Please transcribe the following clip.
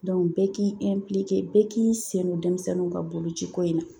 bɛɛ k'i bɛɛ k'i sen don denmisɛnninw ka boloci ko in na.